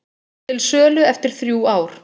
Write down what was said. Til sölu eftir þrjú ár